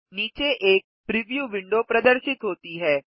नीचे एक preview window प्रदर्शित होती है